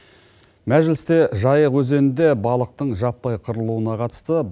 мәжілісте жайық өзенінде балықтың жаппай қырылуына қатысты